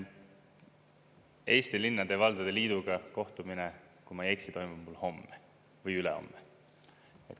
Eesti Linnade ja Valdade Liiduga kohtumine, kui ma ei eksi, toimub mul homme või ülehomme.